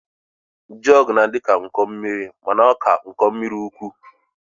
Jọg na-adịka iko mmiri mana ọ ka iko mmiri ukwu